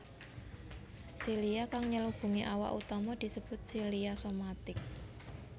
Silia kang nyelubungi awak utama disebut silia somatic